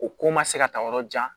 O ko ma se ka taa yɔrɔ jan